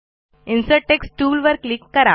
insert text टूलवर click करा